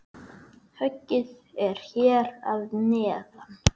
Höggið er hér að neðan.